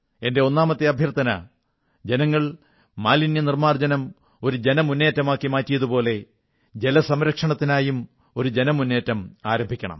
എന്റെ ഒന്നാമത്തെ അഭ്യർഥന ജനങ്ങൾ മാലിന്യനിർമ്മാർജ്ജനം ഒരു ജനമുന്നേറ്റമാക്കി മാറ്റിയതുപോലെ ജല സംരക്ഷണത്തിനായും ഒരു ജനമുന്നേറ്റം ആരംഭിക്കണം